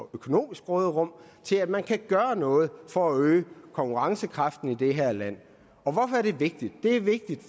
økonomisk råderum til at man kan gøre noget for at øge konkurrencekraften i det her land hvorfor er det vigtigt det er vigtigt